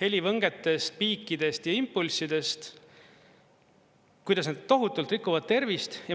helivõngetest, piikidest ja impulssidest, kuidas need tohutult rikuvad tervist.